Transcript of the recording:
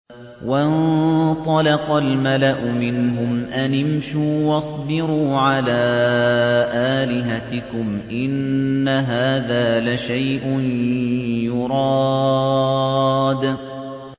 وَانطَلَقَ الْمَلَأُ مِنْهُمْ أَنِ امْشُوا وَاصْبِرُوا عَلَىٰ آلِهَتِكُمْ ۖ إِنَّ هَٰذَا لَشَيْءٌ يُرَادُ